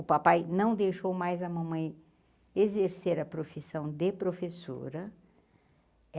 O papai não deixou mais a mamãe exercer a profissão de professora.